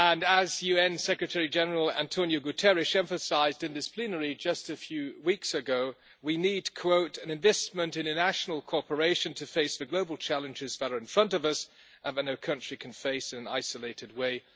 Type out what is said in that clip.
As UN Secretary General António Guterres emphasised in this plenary just a few weeks ago, we need an investment in international cooperation to face the global challenges that are in front of us and that no country can face in an isolated way'.